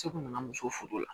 Cɛ kun nana muso la